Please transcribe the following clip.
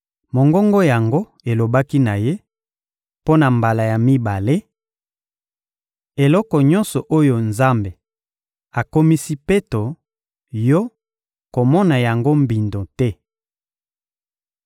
Mongongo yango elobaki na ye, mpo na mbala ya mibale: — Eloko nyonso oyo Nzambe akomisi peto, yo, komona yango mbindo te!